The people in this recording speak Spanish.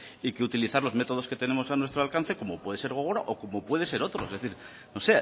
y que utilizar los métodos que tenemos a nuestro alcance como puede ser gogora o como puede ser otro es decir no